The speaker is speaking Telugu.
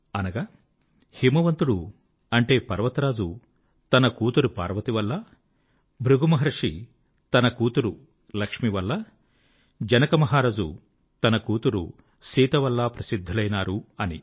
అనగా హిమవంతుడు అంటే పర్వత రాజు తన కూతురు పార్వతి వల్ల భృగు మహర్షి తన కూతురు లక్ష్మి వల్ల జనకమహారాజు తన కూతురు సీత వల్ల ప్రసిద్ధులైనారు అని